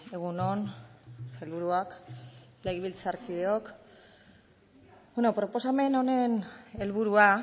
egun on sailburuak legebiltzarkideok bueno proposamen honen helburua